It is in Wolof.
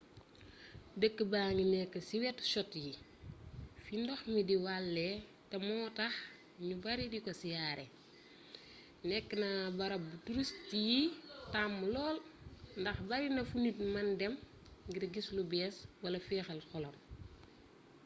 dëkk baa ngi nekk ci wetu chutte yi fi ndox mi di walee te moo tax ñu bari diko siyaare nekk na barab bu touriste yi taamu lool ndax barina fu nit mën dem ngir gis lu bees wala féexal xolam